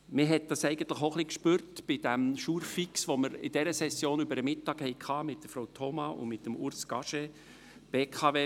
Man spürte dies eigentlich auch ein bisschen an diesem Jour fix, welchen wir in dieser Session mit Frau Thoma und Urs Gasche über Mittag hatten.